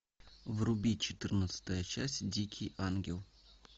вруби четырнадцатая часть дикий ангел